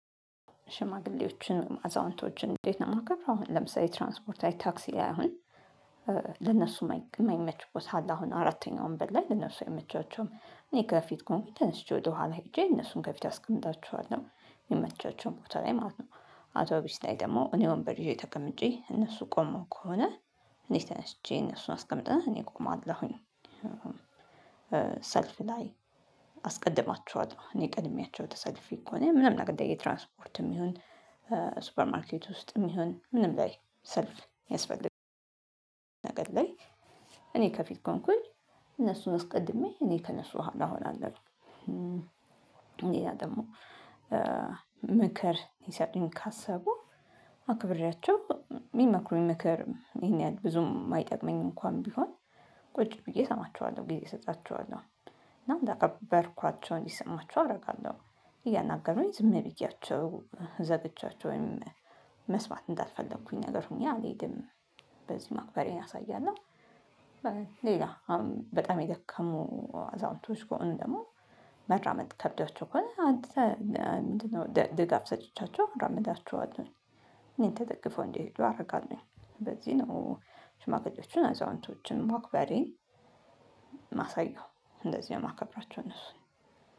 ሽማግሌዎችን አዛውንቶችን እንዴት? ነው የማከብር አሁን ለምሳሌ ትራንስፖርት ላይ ታክሲ ላይ አሁን ለእነሱ የማይመች ቦታ አለ አሁን አራተኛው ወንበር ላይ ለእነሱ አይመቻቸውም እኔ ከፊት ከሆንኩኝ ተነስቼ ወደኋላ ሄጄ እነሱን ከፊት አስቀምጣችኋለሁ የምመቻቸው ቦታ ላይ ማለት ነው። አውቶቢስ ላይ ደግሞ እኔ ወንበር ይዤ ተቀምጬ እነሱ ቆመው ከሆነ እኔ ተነስቼ እነሱን አስቀምጠን እኔ እቆማለሁኝ። ሰልፍ ላይ አስቀድማችኋል እኔ ቀድሚያቸው ተሰልፌ ከሆነ ምንም ነገር ላይ የትራንስፖርትም ይሁን ሱፐር ማርኬት ውስጥም ይሁን ምንም ላይ ሰልፍ ያስፈልጋል። ነገር ላይ እኔ ከፊት ከሆንኩኝ እነሱን አስቀድሜ እኔ ከእነሱ ኋላ እሆናለሁ። ሌላ ደግሞ ምክር ይሰጡኝ ካሰቡ አክብሬያቸው የሚመክሩኝ ምክር ይሄን ያህል ብዙም የማይጠቅመኝ እንኳን ቢሆን ቁጭ ብዬ እሰማቸዋለሁ ጊዜ እሰጣቸዋለሁ እና እንዳከበርኳቸው እንዲሰማችሁ አደርጋለሁ። እያናገሩኝ ዝም ብያቸው ዘግቻቸው ወይም መስማት እንዳልፈለኩኝ ነገር ሆኜ አልሄድም በዚህ ማክበሬን አሳያለሁ። ሌላ በጣም የደከሙ አዛውንቶች ከሆኑ ደግሞ መርመድ ከብዳቸው ከሆነ አንተ ምንድነው? ድጋፍ ሰጥቻቸው አራምዳቸዋለሁ እኔን ትደግፈው እንዲሄዱ አደርጋለሁ በዚህ ነው። ሽማግሌዎችን አዛውንቶችን መክበሬን ማሳየው እንደዚህ ነው የማከብራቸው እነሱ